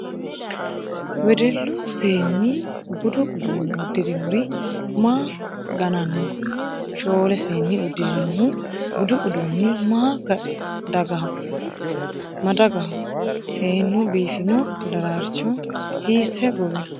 Wedellu Seenni budu uduunne uddirinori maa gananni no ? Shoole seeni uddirinohu budu udduunni ma dagaho ? Seenu biifino daraarcho hiisse gowino ?